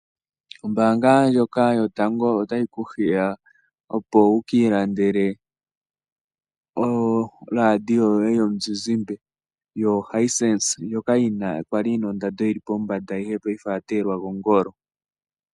Ombaanga ndyoka yotango otayi ku hiya opo wukiilandele oradio yoye yomuzizimbe yoHisense, ndyoka yali yina ondando yili pombanda, paife oya teyelwa kongolo.